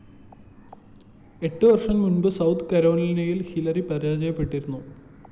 എട്ടു വര്‍ഷം മുമ്പ് സൌത്ത്‌ കരോലിനയില്‍ ഹില്ലരി പരാജയപ്പെട്ടിരുന്നു